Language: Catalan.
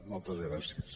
moltes gràcies